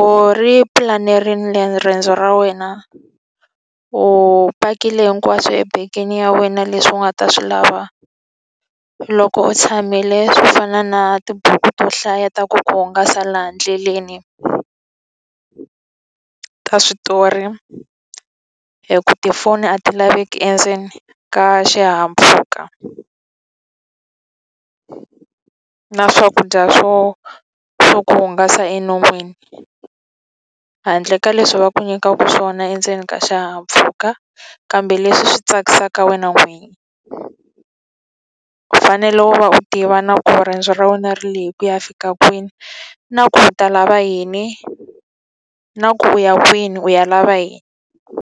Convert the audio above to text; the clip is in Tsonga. u ri pulanerile riendzo ra wena? U pakile hinkwaswo ebegeni ya wena leswi u nga ta swi lava loko u tshamile swo fana na tibuku to hlaya ta ku ku hungasa laha endleleni, ta switori hikuva tifoni a ti laveki endzeni ka xihahampfhuka na swakudya swo swo ku hungasa enon'wini, handle ka leswi va ku nyikaka swona endzeni ka xihahampfhuka, kambe leswi swi tsakisaka wena n'wini. U fanele u va u tiva na ku riendzo ra wena ri lehe ku ya fika kwini, na ku u ta lava yini, na ku u ya kwini u ya lava yini.